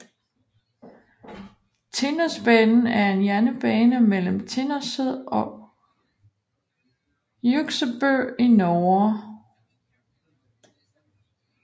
Tinnosbanen er en jernbane mellem Tinnoset og Hjuksebø i Norge